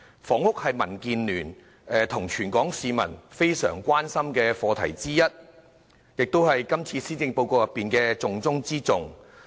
房屋是民建聯及全港市民非常關心的課題之一，亦是今次施政報告的重中之重。